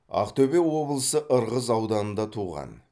ақтөбе облысы ырғыз ауданында туған